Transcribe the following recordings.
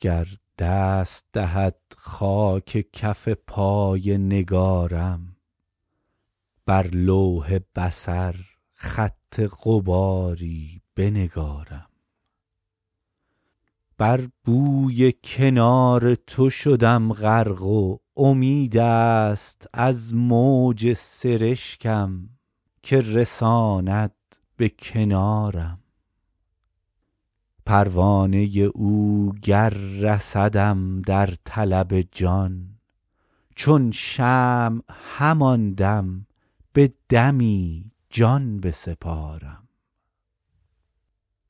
گر دست دهد خاک کف پای نگارم بر لوح بصر خط غباری بنگارم بر بوی کنار تو شدم غرق و امید است از موج سرشکم که رساند به کنارم پروانه او گر رسدم در طلب جان چون شمع همان دم به دمی جان بسپارم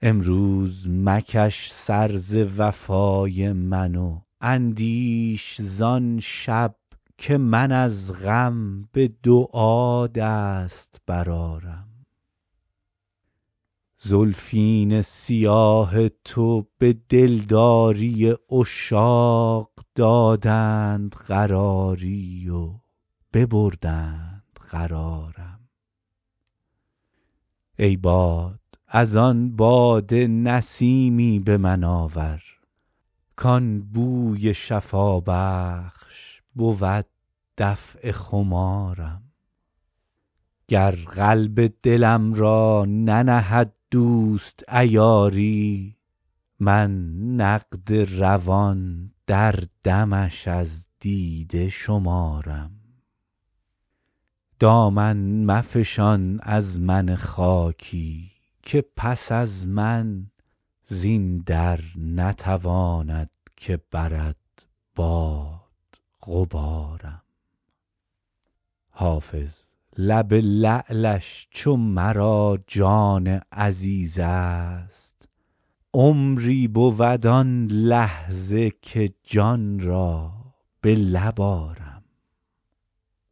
امروز مکش سر ز وفای من و اندیش زان شب که من از غم به دعا دست برآرم زلفین سیاه تو به دلداری عشاق دادند قراری و ببردند قرارم ای باد از آن باده نسیمی به من آور کان بوی شفابخش بود دفع خمارم گر قلب دلم را ننهد دوست عیاری من نقد روان در دمش از دیده شمارم دامن مفشان از من خاکی که پس از من زین در نتواند که برد باد غبارم حافظ لب لعلش چو مرا جان عزیز است عمری بود آن لحظه که جان را به لب آرم